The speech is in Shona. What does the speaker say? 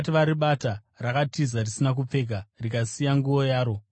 rakatiza risina kupfeka, rikasiya nguo yaro mumashure.